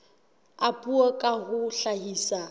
a puo ka ho hlahisa